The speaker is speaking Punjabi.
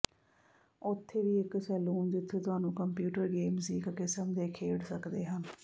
ਉੱਥੇ ਵੀ ਇੱਕ ਸੈਲੂਨ ਜਿੱਥੇ ਤੁਹਾਨੂੰ ਕੰਪਿਊਟਰ ਗੇਮਜ਼ ਦੀ ਇੱਕ ਕਿਸਮ ਦੇ ਖੇਡ ਸਕਦੇ ਹਨ